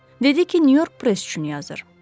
Dedi ki, Nyu-York Press üçün yazır.